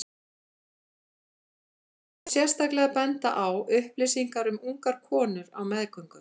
Þar má sérstaklega benda á upplýsingar fyrir ungar konur á meðgöngu.